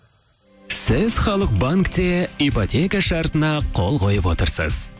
сіз халық банкте ипотека шартына қол қойып отырсыз